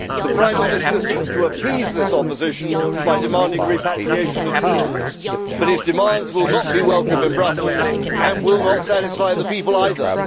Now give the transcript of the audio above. The Prime Minister seeks to appease this opposition by demanding repatriation of powers, but his demands will not be welcome in Brussels and will not satisfy the people either.